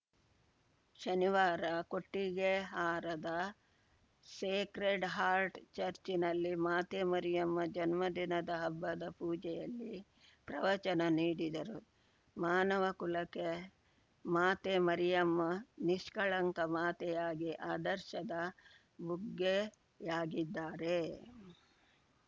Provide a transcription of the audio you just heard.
ಶನಿವಾರ ಕೊಟ್ಟಿಗೆಹಾರದ sacred heart ಚರ್ಚಿನಲ್ಲಿ ಮಾತೆ ಮರಿಯಮ್ಮ ಜನ್ಮದಿನದ ಹಬ್ಬದ ಪೂಜೆಯಲ್ಲಿ ಪ್ರವಚನ ನೀಡಿದರು ಮಾನವ ಕುಲಕ್ಕೆಮಾತೆ ಮರಿಯಮ್ಮ ನಿಷ್ಕಳಂಕ ಮಾತೆಯಾಗಿ ಆದರ್ಶದ ಬುಗ್ಗೆಯಾಗಿದ್ದಾರೆ